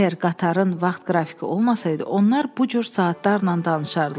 Əgər qatarın vaxt qrafiki olmasaydı, onlar bu cür saatlarla danışardılar.